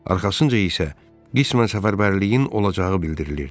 Arxasınca isə qismən səfərbərliyin olacağı bildirilirdi.